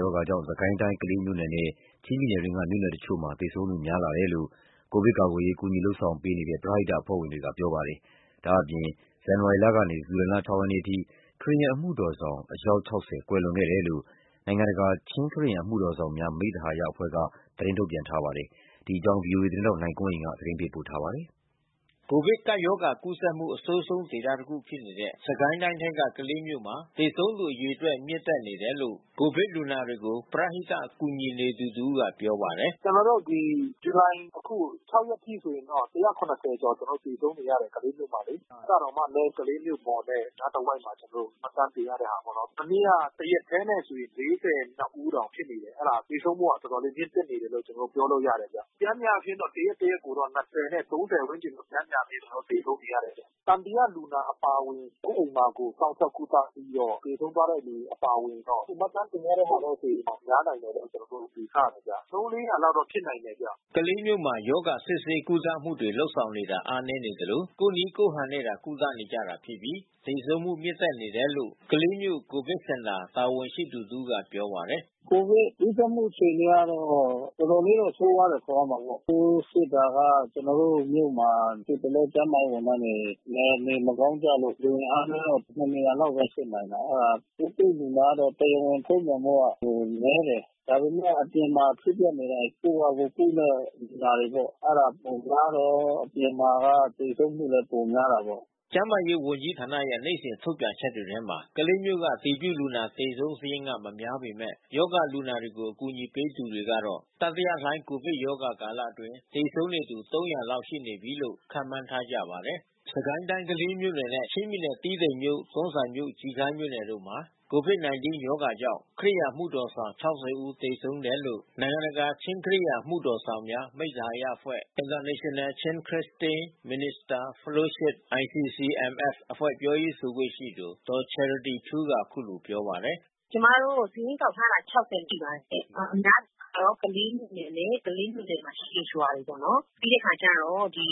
ရောဂါကြောင့် စစ်ကိုင်းတိုင်း၊ ကလေးမြို့နယ်နဲ့ ချင်းပြည်နယ်အတွင်းက မြို့နယ်တချို့မှာ သေဆုံးမှုများပြားလာတယ်လို့ ကိုဗစ်ကာကွယ်ရေး ကူညီ လုပ်ဆောင်ပေးနေတဲ့ ပရဟိတအဖွဲ့ဝင်တွေက ပြောပါတယ်။ ဒါ့အပြင် ဇန်နဝါရီလကနေ ဇူလိုင်လ ၆ ရက်နေ့ အထိ ခရစ်ယာန်အမှုတော်ဆောင် ၆၀ ဦးသေဆုံးတယ်လို့ နိုင်ငံတကာ ချင်းခရစ်ယန်အမှုတော်ဆောင်များ မိတ်သဟာယအဖွဲ့က သတင်းထုတ်ပြန်ထားပါတယ်။ ဒီအကြောင်း ဗွီအိုအေသတင်းထောက် နိုင်ကွန်းအိန်က သတင်းပေးပို့ထားပါတယ်။ ကိုဗစ်ကပ်ရောဂါ ကူးစက်မှု အဆိုးဆုံး ဒေသတခုဖြစ်နေတဲ့ စစ်ကိုင်းတိုင်းထဲက ကလေးမြို့မှာသေဆုံးသူအရေအတွက် မြင့်တက်နေတယ်လို့ ကိုဗစ်လူနာတွေကို ပရဟိတကူညီနေသူတဦးက ပြောပါတယ်။ "ကျွန်တော်တို့အခု ဇူလိုင် ရက်အထိဆိုရင်တော့ ကျွန်တော်တို့ ကျော် သေဆုံးနေရတယ်၊ ကလေးမြို့မှာလေ။ အဲတာတောင်မှာလဲ ကလေးမြို့ပေါ်နဲ့ အနားတဝိုက်မှာ ကျွန်တော်တို့ မှတ်တမ်းတင်ထားတဲ့ဟာပေါ့နော်။ မနေ့ကတရက်ထဲနဲ့တင် ဦးတောင် ဖြစ်နေတယ်။ အဲတာသေဆုံးမှုက တော်တော်လေးမြင့်တက်နေတယ်လို့ ကျွန်တော်တို့ပြောလို့ရတယ်ဗျ။ ပျမ်းမျှတော့တရက်တရက်ကိုတော့ နဲ့ ဝန်းကျင် ပျမ်းမျှ ကျွန်တော်တို့သေဆုံးနေရတယ်။ သံသယလူနာအပါဝင် ကိုယ့်အိမ်မှာကိုယ် စောင့်ရှောက်ကုသပြီးတော့ သေဆုံးသွားတဲ့အပါအဝင်တော့ အခုမှတ်တမ်းတင်တဲ့ဟာနဲ့ဆို ပိုပြီးတော့ များနိုင်မယ်လို့ ကျွန်တော်တို့ယူဆတယ်ဗျ။ သုံး လေးရာလောက်တော့ဖြစ်နိုင်တယ်ဗျ။" ကလေးမြို့မှာ ရောဂါစစ်ဆေးကုသမှုတွေလုပ်ဆောင်တာအားနည်းနေသလို ကိုယ့်နည်းကိုယ့်ဟန်နဲ့သာ ကုသနေကြတာဖြစ်ပြီး သေဆုံးမှု မြင့်တက်နေတယ်လို့ ကလေးမြို့ကိုဗစ်စင်တာတာဝန်ရှိသူတဦးကပြောပါတယ်။ "ကျွန်တော်တို့ ကိုဗစ်ကူးစက်မှုအခြေအနေကတော့ တော်တော်လေးတော့ဆိုးဝါးတယ်ဆိုရမှာပေါ့။ ပိုးစစ်တာကကျွန်တော်တို့ မြို့မှာ အခုတလောကျန်းမာရေးဝန်ထမ်းတွေ နေမကောင်းကြလို့လူအင်အားနဲ့ နှစ်နေရာလောက်ဘဲစစ်နိုင်တာ။ ပိုးတွေ့လူနာ ကတော့တရားဝင်ထိုပြန်တာတော့နည်းတယ်။ ဒါပေမဲ့အပြင်မှာဖြစ်ပျက်နေတာတွေ ကိုယ့်ဟာကိုယ်ကုတဲ့လူနာတွေပေါ့။ အဲတာပိုများတယ်။ အပြင်မှာကသေဆုံးမှုလဲပိုများတာပေါ့။" ကျန်းမာရေးဝန်ကြီးဌာနရဲ့ နေ့စဉ်ထုတ်ပြန်ချက်တွေထဲမှာ ကလေးမြို့က အတည်ပြုလူနာသေဆုံးစာရင်းက မများပေမဲ့ ရောဂါလူနာတွေကို ကူညီပေးနေသူတွေကတော့ တတိယလှိုင်းကိုဗစ်ရောဂါကာလအတွင်း သေဆုံးနေသူ ၃၀၀ လောက် ရှိနေပြီးလို့ခန့်မှန်းထားကြပါတယ်။ စစ်ကိုင်းတိုင်းကလေးမြို့နယ်နဲ့ ချင်းပြည်နယ်တီးတိန်မြို့၊ တွန်းဇံမြို့၊ ကျီခါးမြို့မှာ ကိုဗစ်-၁၉ ရောဂါကြောင့် ခရစ်ယာန် အမှုတော်ဆောင် ၆၀ ဦးသေဆုံးတယ်လို့ နိုင်ငံတကာ ချင်းခရစ်ယာန်အမှုတော်ဆောင်များ မိတ်သဟာယအဖွဲ့International Chin Christian Minister Fellowship အဖွဲ့ ပြောရေး ဆိုခွင့်ရှိသူ ဒေါ်ချယ်ရတီထူးက အခုလိုပြောပါတယ်။ "ကျွန်မတို့စာရင်းကောက်ထားတာ ရှိပါတယ်ရှင့်။ အများအားဖြင့်တော့ ကလေးမြို့နယ်နဲ့ ကလေးမြို့နယ်မှာရှိတဲ့ရွာတွေပေါ့။ ပြီးတဲ့အခါကျတော့ အိ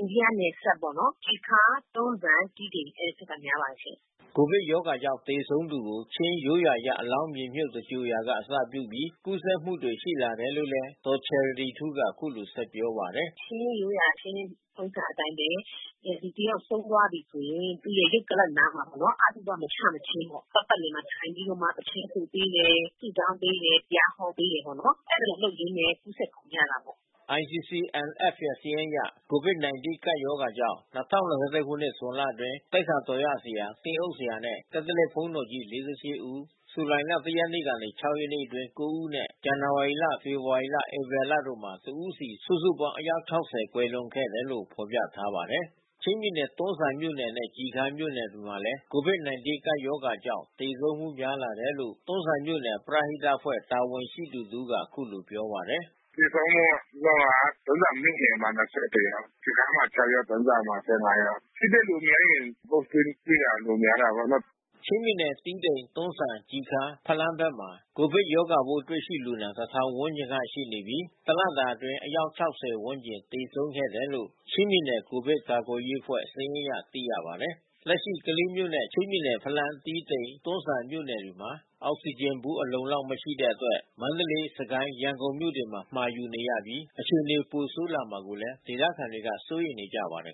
န္ဒိယနယ်စပ်ပေါ့နော်၊ ကျီခါး၊ တွန်းဇံ၊ တီးတိန် အဲဒီဖက်မှာ များပါတယ်။" ကိုဗစ်ရောဂါကြောင့်သေဆုံးသူကို ချင်းရိုးရာအရ အလောင်းမြေမြုတ်သဂြိုလ်ရာက အစပြုပြီး ကူးစက်မှုတွေရှိလာတယ်လို့လဲ ဒေါ်ချယ်ရတီထူးက အခုလိုဆက်ပြောပါတယ်။ "ချင်းရိုးရာ ချင်းထုံးစံအတိုင်းဘဲ လူတယောက်ဆုံးသွားပြီဆိုရင် သူ့ရဲ့ရုပ်ကလာပ်အနားမှာပေါ့နော်၊ အသုဘမချမချင်းပေါ့၊ ပတ်ပတ်လည်မှာထိုင်ပြီးတော့ သီချင်းဆိုပေးတယ်၊ ဆုတောင်းပေးတယ်၊ တရားဟောပေးတယ်။ အဲဒီလိုလုပ်ပေးရင်းနဲ့ ကူးစက် ကုန်ကြတာပေါ့။" ICCMF ရဲ့စာရင်းအရ ကိုဗစ် ၁၉ ကပ်ရောဂါကြောင့် ၂၀၂၁ ခုနှစ် ဇွန်လအတွင်း သိက္ခာတော်ရဆရာ၊ သင်းအုပ်ဆရာနဲ့ ကက်သလစ်ဘုန်းတော်ကြီး ၄၈ ဦး၊ ဇူလိုင်လ ၁ ရက်မှ ၆ ရက်နေ့အတွင်း ၉ ဦးနဲ့ ဇန်နဝါရီလ၊ ဖေဖော်ဝါရီ ၊ ဧပြီလတို့မှာ တစ်ဦးစီ စုစုပေါင်း အယောက် ၆၀ ကွယ်လွန်ခဲ့တယ်လို့ ဖော်ပြထားပါတယ်။ ချင်းပြည်နယ်တွန်းဇံမြို့နယ်နဲ့ကျီခါးမြို့နယ်မှာလဲ ကိုဗစ် ၁၉ ကပ်ရောဂါကြောင့် သေဆုံးမှုများလာတယ်လို့ တွန်းဇံမြို့နယ် ပရဟိတအဖွဲ့ တာဝန်ရှိသူတဦးက အခုလိုပြောပါတယ်။ "သေဆုံးမှုက တွန်းဇံမြို့နယ်မှာ ယောက်။ ကျီခါးမှာ ယောက်၊ တွန်းဇံမှာ ယောက်။ ထိတွေလူများရင် Positive တွေ့တာပိုများတာပေါ့နော်။" ချင်းပြည်နယ် တီးတိန်၊ တွန်းဇံ၊ ကျီခါး၊ ဖလမ်းဘက်မှာ ကိုဗစ်ရောဂါပိုးတွေလူနာ တထောင်ဝန်းကျင်ရှိနေပြီး တလတာအတွင်း အယောက် ဝန်းကျင် သေဆုံးခဲ့တယ်လို့ ချင်းပြည်နယ်ကိုဗစ်ကာကွယ်ရေးအဖွဲ့စာရင်းအရသိရပါတယ်။ လက်ရှိကလေးမြို့နဲ့ ချင်းပြည်နယ် ဖလမ်း၊ တီးတိန်မြို့၊ တွန်းဇံမြို့မြို့နယ်တွေမှာ အောက်စီဂျင်ဗူး အလုံအလောက် မရှိတဲ့အတွက် မန္တလေး၊ စစ်ကိုင်း၊ ရန်ကုန်မြို့တွေမှာ မှာယူနေရပြီး အခြေအနေ ပိုဆိုးလာမှာကိုလည်း ဒေသခံတွေက စိုးရိမ်နေပါတယ်